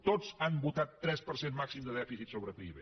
tots han votat tres per cent màxim de dèficit sobre pib